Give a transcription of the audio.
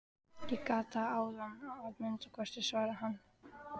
Ég gat það áðan að minnsta kosti, svaraði hann.